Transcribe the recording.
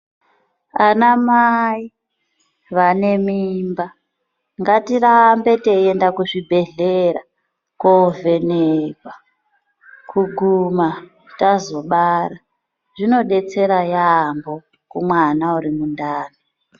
Ana mai vanemimba ngatirambe teyenda kuzvibhedhlera kovhenekwa kuguma tazobara. Zvinodetsera yambo kumwana urimundani.